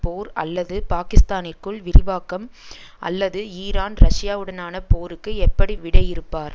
போர் அல்லது பாக்கிஸ்தானிற்குள் விரிவாக்கம் அல்லது ஈரான் ரஷ்யாவுடனான போருக்கு எப்படி விடையிறுப்பார்